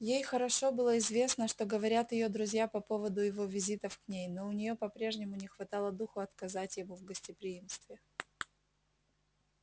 ей хорошо было известно что говорят её друзья по поводу его визитов к ней но у нее по-прежнему не хватало духу отказать ему в гостеприимстве